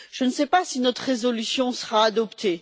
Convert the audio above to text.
Je ne sais pas si notre résolution sera adoptée.